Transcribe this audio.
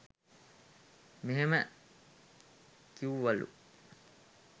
මෙහෙම කිවුවලු.